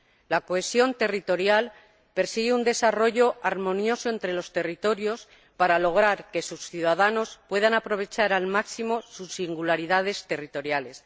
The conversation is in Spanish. La cohesión territorial persigue un desarrollo armonioso entre los territorios para lograr que sus ciudadanos puedan aprovechar al máximo las singularidades de aquellos.